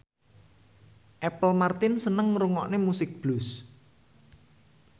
Apple Martin seneng ngrungokne musik blues